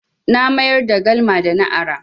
Na mayar da galma da na ara.